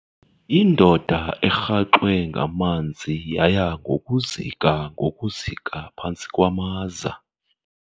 Indoda erhaxwe ngamanzi yaya ngokuzika ngokuzika phantsi kwamaza.